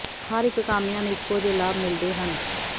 ਹਰ ਇੱਕ ਕਾਮਿਆਂ ਨੂੰ ਇੱਕੋ ਜਿਹੇ ਲਾਭ ਮਿਲਦੇ ਹਨ